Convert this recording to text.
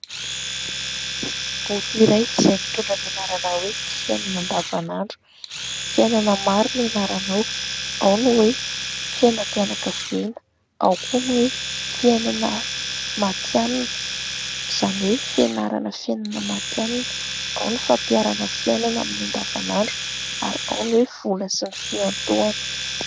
Boky iray izay mitondra ny anarana hoe"Ny fiainana andavanandro", fiainana maro no ianarana ao : ao ny hoe fiainam-pianakaviana, ao koa ny hoe fiainana mantianina izany hoe fianarana fiainana mantianina, ao ny fampianarana fiainana amin'ny andavanandro ary ao ny hoe vola sy ny fiantohana.